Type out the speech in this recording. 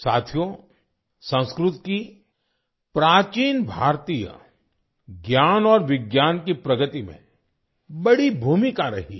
साथियो संस्कृत की प्राचीन भारतीय ज्ञान और विज्ञान की प्रगति में बड़ी भूमिका रही है